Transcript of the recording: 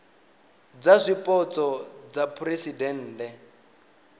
dza zwipotso dza phuresidennde dza